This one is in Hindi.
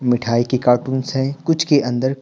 मिठाई के कार्टून्स हैं कुछ के अंदर --